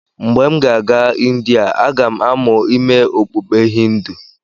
Mgbe m ga-aga Indiya, aga m amụ ime okpukpe Hindu.